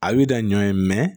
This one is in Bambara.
A bi da ɲɔ ye